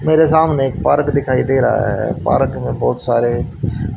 मेरे सामने एक पार्क दिखाई दे रहा है पार्क में बहुत सारे--